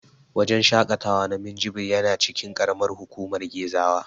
Wajen shaƙatawa na Minjibir yana cikin ƙaramar hukumar Gezawa.